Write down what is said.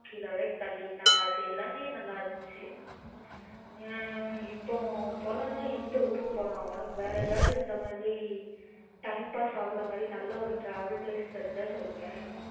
அது எல்லாமே நல்ல இருந்துச்சு ஆஹா இப்போ போலாம் நா எந்த ஊருக்கு போலாம் உனக்கு வேற எதாவது இந்த மாதிரி time pass ஆகுற மாதிரி நல்ல ஒரு travel place தெரிஞ்ச சொல்லேன்